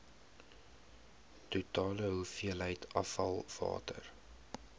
totale hoeveelheid afvalwater